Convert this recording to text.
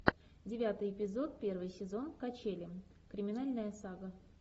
девятый эпизод первый сезон качели криминальная сага